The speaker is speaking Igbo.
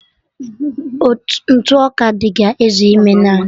Ntụ ọka dị ga-ezu ime naanụ